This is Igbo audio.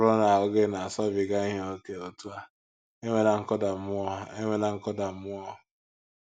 Ọ bụrụ na ahụ́ gị na - asọbiga ihe ókè otú a, enwela nkụda mmụọ enwela nkụda mmụọ!